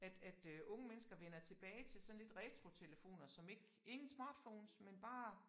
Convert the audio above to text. At at øh unge mennesker vender tilbage til sådan lidt retrotelefoner som ikke ingen smartphones men bare